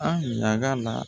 An ɲaga la